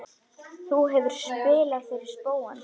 Þú hefur spilað fyrir spóann?